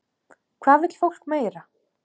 Hvað vill fólk meira?